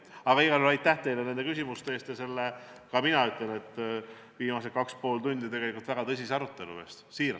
Aga igal juhul aitäh teile nende küsimuste eest ja selle kaks ja pool tundi kestnud väga tõsise arutelu eest!